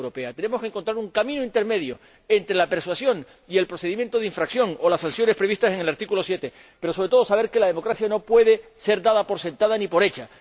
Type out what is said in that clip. Tenemos que encontrar un camino intermedio entre la persuasión y el procedimiento de infracción o las sanciones previstas en el artículo 7, pero sobre todo, tenemos que saber que la democracia no puede ser dada por sentada ni por hecha.